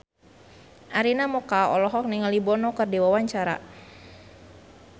Arina Mocca olohok ningali Bono keur diwawancara